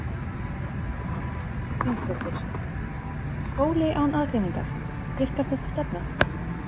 Erla Hlynsdóttir: Skóli án aðgreiningar, virkar þessi stefna?